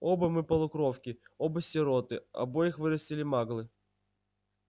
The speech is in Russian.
оба мы полукровки оба сироты обоих вырастили маглы